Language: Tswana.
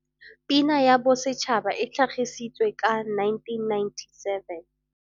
Pina ya Bosetšhaba e tlhagisi tswe ka 1997.